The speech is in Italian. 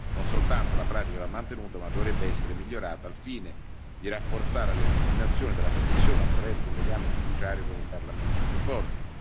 Non soltanto la pratica va mantenuta, ma dovrebbe essere migliorata, al fine di rafforzare la legittimazione della Commissione attraverso un legame fiduciario con il Parlamento più forte.